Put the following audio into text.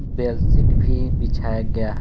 भी बिछाया गया।